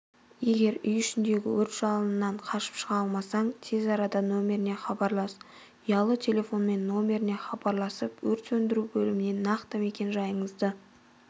егер үй ішіндегі өрт жалынынан қашып шығалмасаң тез арада нөмеріне хабарлас ұялы телефонмен нөмеріне хабарласып өрт сөнідру бөліміне нақты мекен жайыңызды